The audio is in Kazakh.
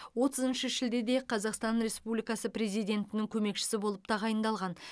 отызыншы шілдеде қазақстан республикасы президентінің көмекшісі болып тағайындалған